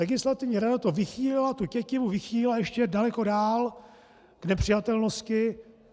Legislativní rada to vychýlila, tu tětivu vychýlila ještě daleko dál k nepřijatelnosti.